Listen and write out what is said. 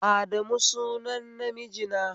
Adamu sunan namiji na